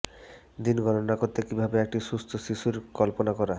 দিন গণনা করতে কিভাবে একটি সুস্থ শিশুর কল্পনা করা